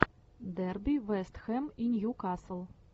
дерби вест хэм и ньюкасл